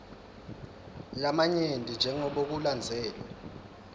lamanyenti jengobe kulandzelwe